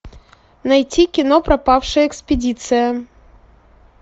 найти кино пропавшая экспедиция